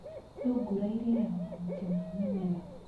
Thungura irĩaga mahuti ma mĩmera.